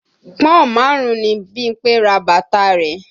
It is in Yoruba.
Pọ́n-ọ̀n márùn-ún ni Bímpé ra bàtà rẹ̀